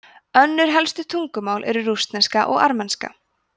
önnur helstu tungumál eru rússneska og armenska